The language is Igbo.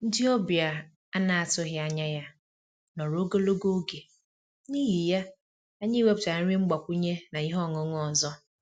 Ndị ọbịa a na-atụghị anya ya nọrọ ogologo oge, n'ihi ya, anyị wepụtara nri mgbakwunye na ihe ọṅụṅụ ọzọ